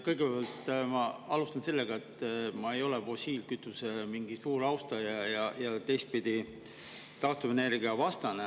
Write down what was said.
Kõigepealt, ma alustan sellega, et ma ei ole fossiilkütuse suur austaja ega teistpidi taastuvenergia vastane.